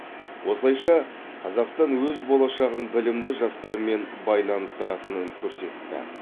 осылайша қазақстан өз болашағын білімді жастармен байланыстыратынын көрсетті